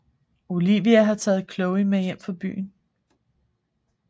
Olivia har taget Chloe med hjem fra byen